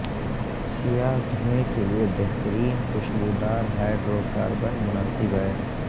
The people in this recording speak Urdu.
سیاہ دھوئیں کے لئے بہترین کھشبودار ہائڈروکاربن مناسب ہے